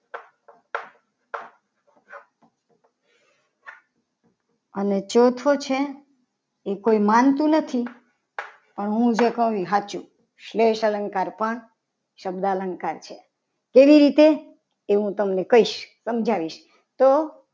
અને ચોથો છે. એ કોઈ માનતું નથી. હું જે કહું એ સાચું સ્લેશ અલંકાર પણ શબ્દ અલંકાર છે. એવી રીતે એ હું તમને કહીશ સમજાવીશ. તો